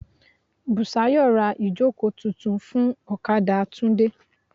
Bùsáyọ̀ ra ìjókòó tuntun fún ọ̀kadà Tunde.